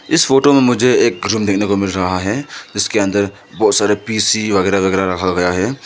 इस फोटो में मुझे एक रूम देखने को मिल रहा है इसके अंदर बहोत सारे पी_सी वगैरा वगैरा रखा गया है।